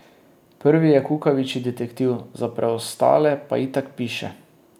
Prvi je kukavičji detektiv, za preostale pa itak piše.